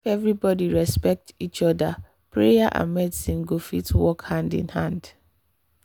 if everybody respect each other prayer and medicine go fit work hand in hand.